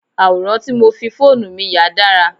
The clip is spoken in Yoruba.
Àwòrán tí mo fi fóònù mi yà dára.